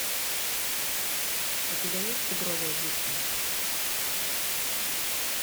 у тебя есть тигровая бухта